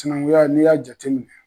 Sinanguya n'i y'a jate minɛ.